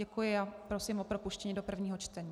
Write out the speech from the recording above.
Děkuji a prosím o propuštění do druhého čtení.